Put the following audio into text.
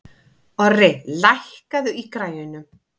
Orri, lækkaðu í græjunum.